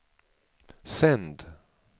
sänd